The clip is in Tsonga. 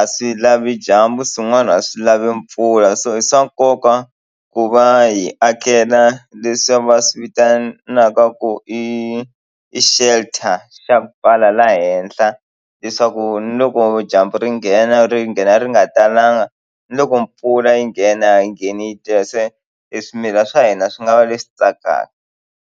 a swi lavi dyambu swin'wana a swi lavi mpfula so i swa nkoka ku va hi akela leswi va swi vitanaka ku i i shelter xa pfala laha henhla leswaku ni loko dyambu ri nghena ri nghena ri nga talanga ni loko mpfula yi nghena a yi ngheni yi tele se hi swimila swa hina swi nga va leswi tsakaka.